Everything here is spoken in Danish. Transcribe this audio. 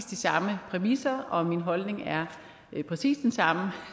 de samme præmisser og min holdning er præcis den samme